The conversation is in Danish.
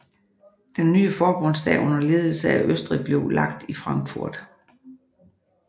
Den nye forbundsdag under ledelse af Østrig blev lagt i Frankfurt